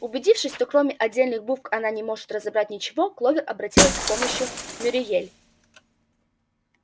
убедившись что кроме отдельных букв она не может разобрать ничего кловер обратилась к помощи мюриель